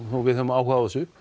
þó við höfum áhuga á þessu